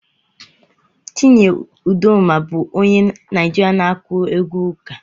Chinyere Udoma bụ onye Naijiria na-akụ egwu ụka.